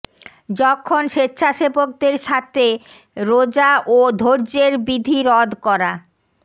যখন স্বেচ্ছাসেবকদের সাথে রোযা ও ধৈর্যের বিধি রদ করা